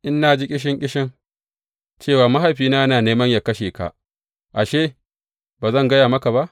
In na ji ƙishin ƙishin, cewa mahaifina yana neman yă kashe ka ashe, ba zan gaya maka ba?